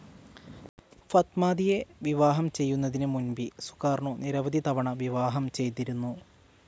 ഫത്മാതിയെ വിവാഹം ചെയ്യുന്നതിന് മുൻപി സുകാർണോ നിരവധി തവണ വിവാഹം ചെയ്തിരുന്നു.